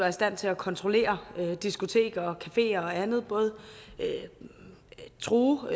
i stand til at kontrollere diskoteker cafeer og andet og true